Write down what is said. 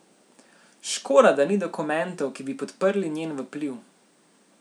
Škoda, da ni dokumentov, ki bi podprli njen vpliv.